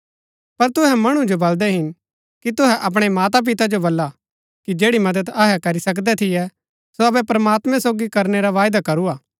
पर तुहै मणु जो बलदै हिन कि तुहै अपणै माता पिता जो बल्ला कि जैड़ी मदद अहै करी सकदै थियै सो अबै प्रमात्मैं सोगी करनै रा वायदा करू हा